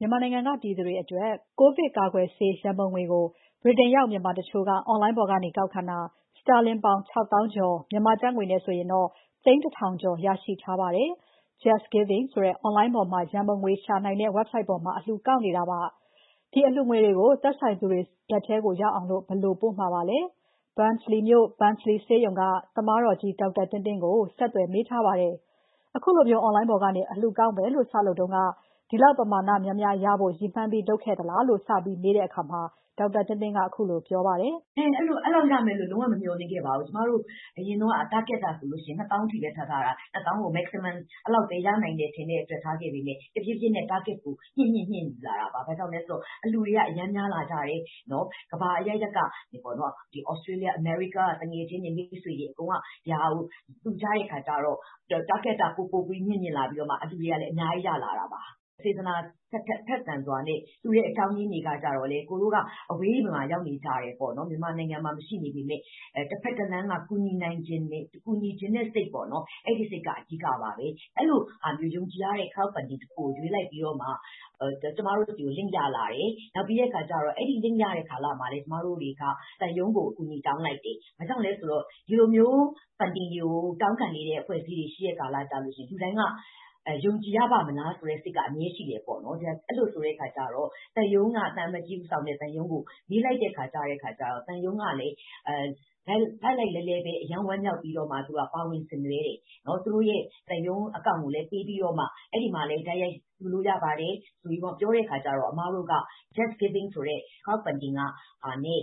မြန်မာနိုင်ငံကပြည်သူတွေအတွက် ကိုဗစ်ကာကွယ်ဆေးရန်ပုံငွေကို ဗြိတိန်ရောက် မြန်မာတချို့က Online ပေါ်ကနေ ကောက်ခံတာ စတာလင်ပေါင်း ၆ သောင်းကျော်၊ မြန်မာကျပ်ငွေနဲ့ဆို သိန်း ၁ ထောင်ကျော်ရရှိထားပါတယ်။ JustGiving ဆိုတဲ့ အွန်လိုင်းပေါ်မှာ ရန်ပုံငွေရှာနိုင်တဲ့ ဝဘ်ဆိုဒ်ပေါ်မှာ အလှူကောက်ခံခဲ့တာပါ။ ဒီအလှူငွေတွေကို သက်ဆိုသူတွေလက်ထဲရောက်အောင် ဘယ်လိုပို့မလဲဆိုတာကိုသိရအောင် စီစဉ်သူတယောက်ဖြစ်တဲ့ Barnsley မြို့ Barnsley ဆေးရုံက သမားတော်ကြီး ဒေါက်တာသင်းသင်းကို မစုမြတ်မွန်က ဆက်သွယ်မေးထားပါတယ်။ အခုလို အွန်လိုင်းပေါ်ကနေ အလှူငွေကောက်မယ်လို့ စလုပ်တုန်းက ဒီလောက်ပမာဏများများရဖို့ ရည်မှန်းပြီး လုပ်ခဲ့သလားလို့ စပြီးမေးတဲ့အခါ ဒေါက်တာသင်းသင်းက ခုလိုပြောပါတယ်။ အဲလောက်ရမယ်လို့ လုံး၀ မမျှော်လင့်ခဲ့ပါဘူး။ ကျမတို့ အရင်တုန်းက Target ဆိုရင် ၂ သောင်းအထိပဲ ထားထားတယ်။ Maximum ၂ သောင်းအထိပဲရမယ်လို့ ထင်ထားခဲ့ပေမယ့် တဖြေးဖြေးနဲ့ Target က မြင့်လာတာပါ။ ဘာကြောင့်လဲဆိုတော့ အလှူတွေက အရမ်းများလာကြတယ်။ နောက် ကမ္ဘာအရပ်ရပ်က သြစတေးလျ၊ အမေရိကားက သူငယ်ချင်းတွေ အကုန်လုံးက ဒါကို လှူကြတဲ့ အခါကျတော့ Target က ပိုပိုပြီး မြင့်လာတော့ အလှူငွေတွေကလည်း အများကြီး ရလာတာပါ။ စေတနာ ထက်သန်စွာနဲ့ လှူတဲ့ အကြောင်းတွေကလည်း သူတို့က အဝေးမှာ ရောက်နေကြတယ်ပေါ့နော် ၊ မြန်မာနိုင်ငံမှာ မရှိနေပေမယ့် တဖက်တလှမ်းက ကူညီချင်တဲ့ စိတ်ပေ့ါနော်၊ အဲဒီစိတ်က အဓိကပါပဲ။ အဲလိုဟာမျိုး ယုံကြည်ရတဲ့အထောက်အပံ့လေးတခုကို ရွေးလိုက်ပြီးတော့မှ ကျမတို့ဆီကို Link ရလာတယ်။ နောက်ပြီးတော့ အဲဒီ Link ရလာတဲ့ ကျမတို့တွေက သံရုံးကို အကူအညီ တောင်းလိုက်တယ်။ ဘာကြောင့်လဲဆိုတော့ ဒီလိုမျိုး Funding တွေကို တောင်းခံနေတဲ့ အဖွဲ့အစည်းတွေ ရှိတဲ့ကာလကျရင် လူတိုင်းက ယုံကြည်ရပါ့မလားဆိုတဲ့ စိတ်က အမြဲရှိတယ်ပေါ့နော်။ အဲလိုဆိုတဲ့အခါကျတော့ သံရုံးက သံအမတ်ကြီးဦးဆောင်တဲ့ သံရုံးကို မေးလိုက်တဲ့အခါကျတော့ သံရုံးကလည်း လှိုက်လှိုက်လှဲလှဲပဲ အရမ်းဝမ်းမြောက်ပြီးတော့မှ ပါဝင်ဆင်နွဲတယ်။ သူတို့ရဲ့ သံရုံးအကောင့်ကိုလည်း ပေးပြီးတော့မှ အဲဒီမှာလည်း တိုက်ရိုက်လှူလို့ရပါတယ် ဆိုပြီးမှ ပြောတဲ့အခါကျတော့ အမတို့က “JustGiving” ဆိုတဲ့ Funding နဲ့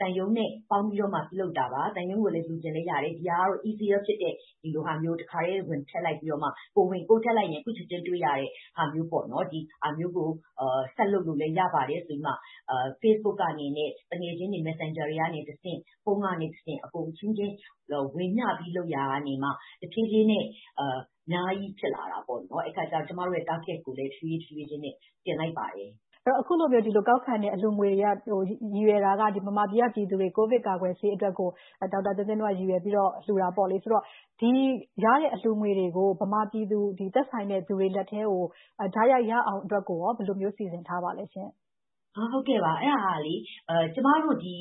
သံရုံးနဲ့ ပေါင်းပြီးတော့မှ ပြုလုပ်တာပါ။ သံရုံးကိုလည်း လှူချင်ရင်လည်းရတယ်။ ဒီဟာကတော့ Easier ဖြစ်တဲ့ ဒီလိုဟာမျိုး တခါတည်း ဝင်ပြီး ကိုယ်ထည့်လိုက်ရင် အခုချက်ချင်းတွေ့ရတဲ့ ဟာမျိုးပေါ့နော်။ ဒါမျိုးကို ဆက်လုပ်လို့လည်းရပါတယ်ဆိုပြီး Facebook ကနေ၊ သူငယ်ချင်းတွေ Messenger တွေကနေတဆင့်၊ ဖုန်းကနေ တဆင့်၊ အကုန်အချင်းချင်း ဝေမျှပြီးတော့ လုပ်ရာကမှ တဖြေးဖြေးနဲ့ အများကြီးဖြစ်လာတာပါ။ အဲဒီအခါကျတော့ ကျမတို့ရဲ့ Target ကိုလည်း တဖြေးဖြေးချင်းနဲ့ တင်လိုက်ပါတယ်။ အဲလိုမျိုး ဒီလိုကောက်ခံတဲ့ အလှူငွေတွေက ရည်ရွယ်တာက မြန်မာပြည်ကပြည်သူတွေ ကိုဗစ်ကာကွယ်ဆေးအတွက်ကို ဒေါက်တာသင်းသင်းတို့က ရည်ရွယ်ပြီးတော့ လှူတာပေါ့လေ။ ဆိုတော့ ဒီရတဲ့ အလှူငွေတွေကို မြန်မာပြည်သူ သက်ဆိုင်တဲ့လူတွေလက်ထဲ တိုက်ရိုက်ရအောင်အတွက်ကို ဘယ်လိုမျိုး စီစဉ်ထားပါသလဲ။ ဟုတ်ကဲ့ပါ။ အဲဒါကလေ ကျမတို့ဒီ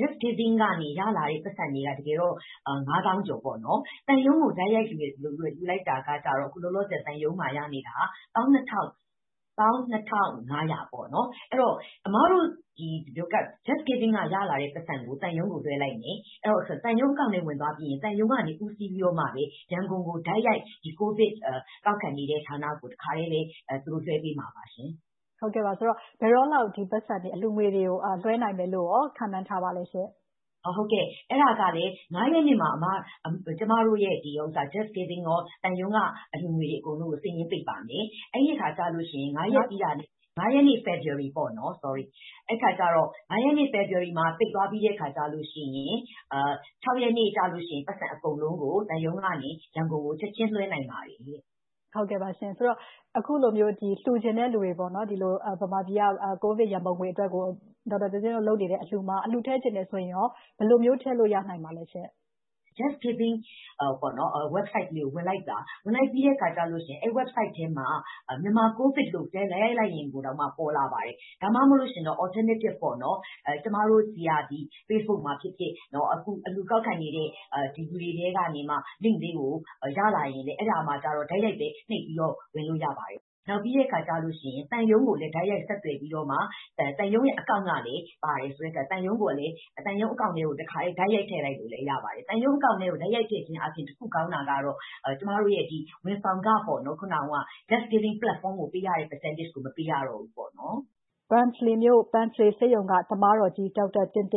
JustGiving ကနေ ရလာတာက တကယ်တော့ ၅ သောင်းကျော် ပေါ့နော်။ သံရုံးကို တိုက်ရိုက်လှူလိုက်တာက အခုလောလောဆည် သံရုံးမှာရနေတာက ၁၂၅၀၀ ပေါ့နော်။ အဲဒီတော့ အမတို့ JustGiving ကနေ ရလာတဲ့ပိုက်ဆံကို သံရုံးကို လွှဲလိုက်တယ်။ အဲဒီတော့ သံရုံးအကောင့်ထဲဝင်သွားပြီးရင် သံရုံးကနေ ဦးစီးပြီးမှပဲ ရန်ကုန်ကို တိုက်ရိုက် COVID ကောက်ခံနေတဲ့ ဌာနကို သူတို့ လွှဲပေးမှာပါရှင့်။ ဆိုတော့ ဘယ်တော့လောက် ဒီပိုက်ဆံ အလှူငွေတွေကို လွှဲနိုင်မယ်လို့ ခန့်မှန်းထားပါသလဲရှင့်။ ဟုတ်ကဲ့၊ အဲဒါကလည်း ၅ ရက်နေ့မှာ ကျမတို့ရဲ့ JustGiving ရော သံရုံးက အလှူငွေတွေအကုန်လုံးကို စာရင်းပိတ်ပါမယ်။ အဲဒီအခါကျရင် ဖေဖော်ဝါရီ ၅ ရက်မှာ ပိတ်သွားပြီးတဲ့အခါကျရင် ၆ ရက်နေ့ကျရင် ပိုက်ဆံအကုန်လုံးကို သံရုံးကနေ ရန်ကုန်ကို ချက်ချင်းလွဲနိုင်ပါပြီ။ ဟုတ်ကဲ့ပါရှင့်။ ဆိုတော့ အခုလိုမျိုး လှူချင်တဲ့သူတွေ မြန်မာပြည်က COVID ရန်ပုံငွေအတွက် ဒေါက်တာသင်းသင်းတို့ လုပ်နေတဲ့ အလှူမှာ အလှူထည့် ချင်တယ်ဆိုရင် ဘယ်လိုမျိုး ထည့်လို့ရနိုင်ပါသလဲရှင့်။ JustGiving ဝက်ဘ်ဆိုက်ကို ဝင်လိုက်ပါ။ ဝင်လိုက်ပြီးတဲ့အခါကျရင် အဲဒီ ဝက်ဘ်ဆိုက်ထဲမှာ Myanmar COVID လို့ ရိုက်လိုက်ရင်တောင်မှ ပေါ်လာပါတယ်။ ဒါမှ မဟုတ်ရင် Alternative ပေါ့နော်၊ ကျမတို့ဆီက Facebook မှာဖြစ်ဖြစ် ၊ အလှူကောက်ခံနေတဲ့ ဒီလူတွေထဲကနေမှ Link လေးကို ရလာရင်လည်း အဲဒါမှာကျတော့ တိုက်ရိုက်နှိပ်ပြီးတော့ ဝင်လို့ရပါတယ်။ နောက်ပြီးတဲ့အခါကျရင် သံရုံးကိုလည်း တိုက်ရိုက်ဆက်သွယ်ပြီးတော့မှ သံရုံးအကာင့်ကလည်း ပါတယ်ဆိုတော့ သံရုံးအကာင့်ကို တခါတည်း တိုက်ရိုက် ထည့်လိုက်လို့ ရပါတယ်။ သံရုံးအကာင့်ကို တိုက်ရိုက်ထည့်ခြင်းအားဖြင့် တခုကောင်းတာကတော့ ကျမတို့ရဲ့ ဒီ ဝန်ဆောင်ခ ပေါ့နော် JustGiving ကို ပေးရတဲ့ ရာခိုင်နှုန်းကို မပြတော့ဘူးပေါ့နော်။ Barnsley မြို့ Barnsley ဆေးရုံက သမားတော်ကြီး ဒေါက်တာသင်းသင်